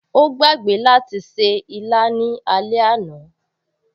O gbàgbé láti ṣe ìlà ní alẹ́ àná